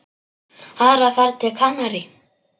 Aðra ferð til Kanarí?